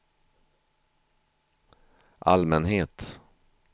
allmänhet